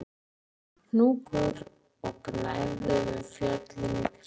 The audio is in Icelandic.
Lengst í fjarska var blár hnúkur og gnæfði yfir fjöllin í kring